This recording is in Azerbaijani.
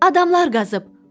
Adamlar qazıb.